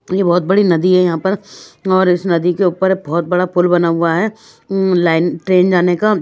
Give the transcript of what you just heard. ये बहोत बड़ी नदी है यहां पर और इस नदी के ऊपर बहुत बड़ा पुल बना हुआ है लाइन ट्रेन जाने का--